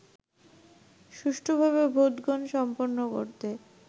সুষ্ঠুভাবে ভোটগ্রহণ সম্পন্ন করতে